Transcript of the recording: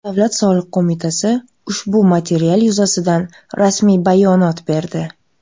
Davlat soliq qo‘mitasi ushbu material yuzasidan rasmiy bayonot berdi .